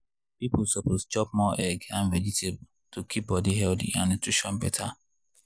people suppose chop more egg and vegetable to keep body healthy and nutrition better.